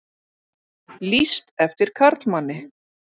Lýst eftir karlmanni